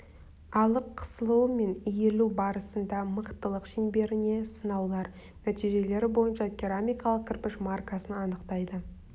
алық қысылуы мен иілу барысында мықтылық шеңберіне сынаулар нәтижелері бойынша керамикалық кірпіш маркасын анықтайды